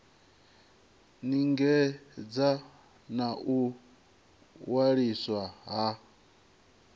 lingedza na u waliswa ha